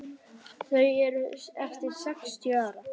Þau eru eftir sextíu ár.